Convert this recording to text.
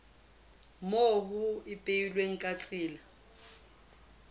moo ho ipehilweng ka tsela